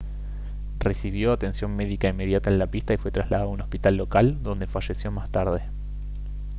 recibió atención médica inmediata en la pista y fue trasladado a un hospital local donde falleció más tarde